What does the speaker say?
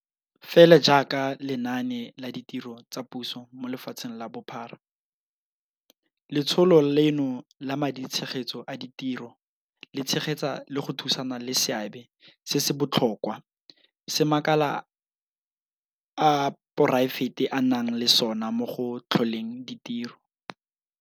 Fela jaaka lenaane la ditiro tsa puso mo lefatsheng ka bophara, letsholo leno la maditshegetso a ditiro le tshegetsa le go thusana le seabe se se botlhokwa se makala a poraefete a nang le sona mo go tlholeng ditiro.